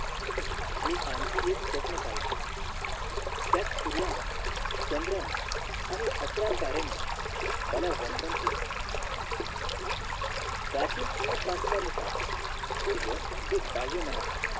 मी आणखीन एक स्वप्न पहिल त्यात सूर्यांन चंद्रान आणि आकारा ताऱ्यांनी मला वंदन केलं. प्राचीन चिन्हसत्सा नुसार सूर्य हे बाह्यमनाचं.